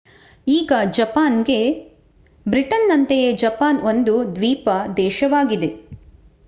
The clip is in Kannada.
ಈಗ ಜಪಾನ್‌ಗೆ. ಬ್ರಿಟನ್‌ನಂತೆಯೇ ಜಪಾನ್ ಒಂದು ದ್ವೀಪ ದೇಶವಾಗಿದೆ